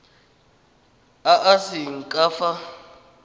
a a seng ka fa